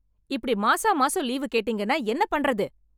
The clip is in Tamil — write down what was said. இப்படி மாசம் மாசம் லீவு கேட்டீங்கன்னா என்ன பண்றது?